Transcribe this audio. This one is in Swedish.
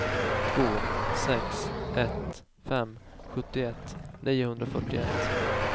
två sex ett fem sjuttioett niohundrafyrtioett